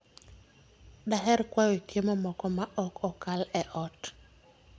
Daher kwayo chiemo moko ma ok okal e ot.